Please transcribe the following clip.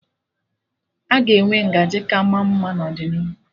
Aga enwe ngaji ka ma mma n'ọdịnihu